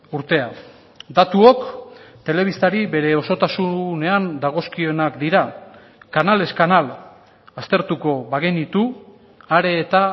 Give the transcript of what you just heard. urtea datuok telebistari bere osotasunean dagozkionak dira kanalez kanal aztertuko bagenitu are eta